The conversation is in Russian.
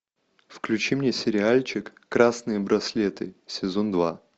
включи мне сериальчик красные браслеты сезон два